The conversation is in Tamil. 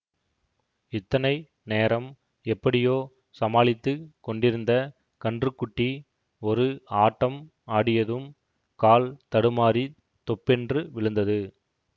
இத்தனை நேரம் எப்படியோ சமாளித்து கொண்டிருந்த கன்றுக் குட்டி ஒரு ஆட்டம் ஆடியதும் கால் தடுமாறித் தொப்பென்று விழுந்தது